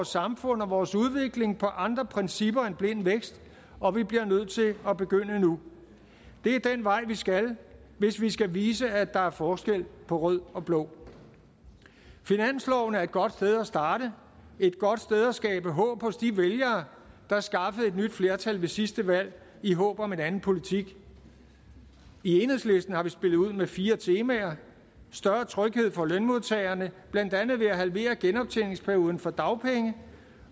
samfund og vores udvikling på andre principper end blind vækst og vi bliver nødt til at begynde nu det er den vej vi skal hvis vi skal vise at der er forskel på rød og blå finansloven er et godt sted at starte et godt sted at skabe håb hos de vælgere der skaffede et nyt flertal ved sidste valg i håb om en anden politik i enhedslisten har vi spillet ud med fire temaer større tryghed for lønmodtagerne blandt andet ved at halvere genoptjeningsperioden for dagpenge